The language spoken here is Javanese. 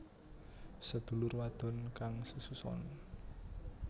Sedulur wadon kang sesuson